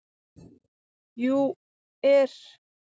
. jú. er.